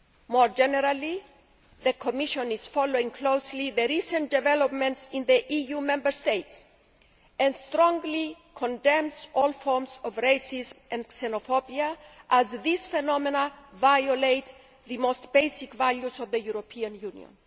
More generally, the Commission is following closely recent developments in the EU Member States and strongly condemns all forms of racism and xenophobia, as these phenomena violate the most basic values of the European Union.